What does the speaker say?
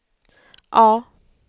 A